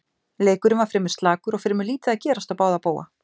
Leikurinn var fremur slakur og fremur lítið að gerast á báða bóga.